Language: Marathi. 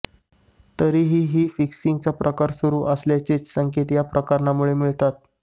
तरीही ही फिक्सिंगचा प्रकार सुरु असल्याचेच संकेत या प्रकरणामुळे मिळतात